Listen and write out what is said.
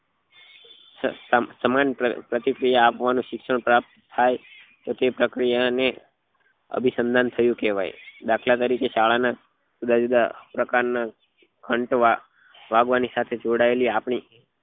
સામાન સમાન પ્રતિક્રિયા આપવા નું શિક્ષણ પ્રાપ્ત થાય તો તે પ્રક્રિયા ને અભિસંધાન થયું કેવાય દાખલા તરીકે શાળા ના જુદા જુદા પ્રકાર ના ઘંટ વાગ વાગવા ની આપડી